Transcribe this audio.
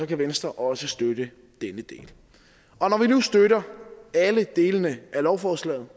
kan venstre også støtte denne del når vi nu støtter alle delene af lovforslaget